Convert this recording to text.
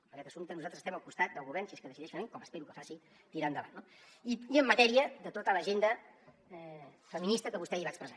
en aquest assumpte nosaltres estem al costat del govern si és que decideix fer ho com espero que faci i tirar ho endavant no i en matèria de tota l’agenda feminista que vostè ahir va expressar